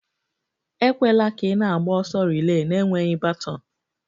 Ekwela ka ị na-agba ọsọ relay na-enweghị baton!